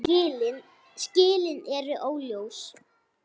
Skilin eru óljós.